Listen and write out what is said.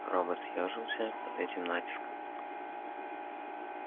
робот съёжился под этим натиском